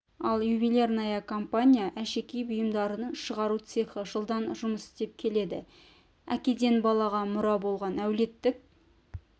ал ювелирная компания әшекей бұйымдарын шығару цехы жылдан жұмыс істеп келеді әкеден балаға мұра болған әулеттік